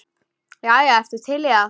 Jæja, ertu til í það?